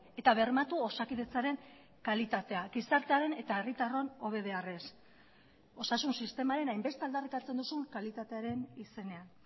eta bermatu osakidetzaren kalitatea gizartearen eta herritarron hobe beharrez osasun sistemaren hainbeste aldarrikatzen duzun kalitatearen izenean